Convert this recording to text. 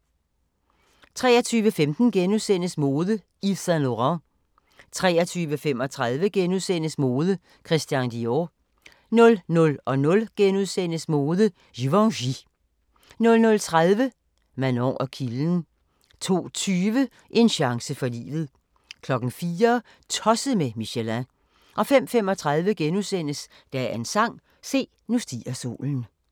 23:15: Mode: Yves Saint Laurent * 23:35: Mode: Christian Dior * 00:00: Mode: Givenchy * 00:30: Manon og kilden 02:20: En chance for livet 04:00: Tosset med Michelin 05:35: Dagens sang: Se, nu stiger solen *